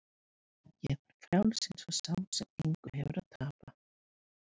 Ég var frjáls eins og sá sem engu hefur að tapa.